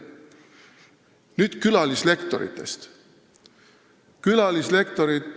Nüüd külalislektoritest.